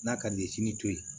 N'a ka di ye sini to ye